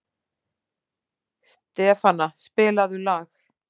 Stefana, spilaðu lag.